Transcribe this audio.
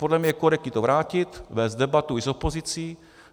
Podle mě je korektní to vrátit, vést debatu i s opozicí.